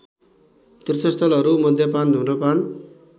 तीर्थस्थलहरू मद्यपान धुम्रपान